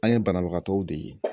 An ye banabagatɔw de ye